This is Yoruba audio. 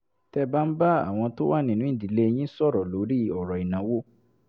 tẹ́ ẹ bá ń bá àwọn tó wà nínú ìdílé yín sọ̀rọ̀ lórí ọ̀rọ̀ ìnáwó